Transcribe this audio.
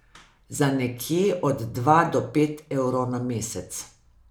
Za nekje od dva do pet evrov na mesec.